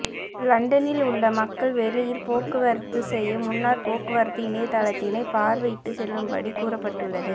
லண்டனில் உள்ள மக்கள் வெளியில் போக்குவரத்து செய்ய முன்னர் போக்குவரத்து இணையதளத்தினை பார்வை இட்டு செல்லும் படி கூறபட்டுள்ளது